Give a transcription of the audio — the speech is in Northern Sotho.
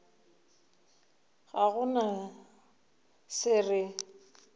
ga go na se re